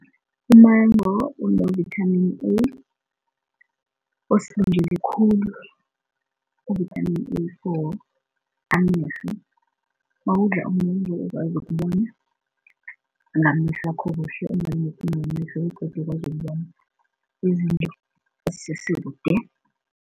Umango unovitamini A osilungele khulu uvithamini A for amehlo, mawudla umengu ukwazi ukubona ngamehlwakho begodu ukwazi ukubona izinto nazisesekude.